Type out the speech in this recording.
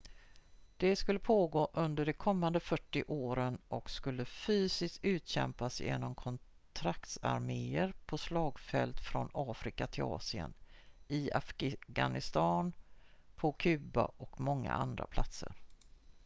det skulle pågå under de kommande 40 åren och skulle fysiskt utkämpas genom kontraktsarméer på slagfält från afrika till asien i afghanistan på kuba och många andra platser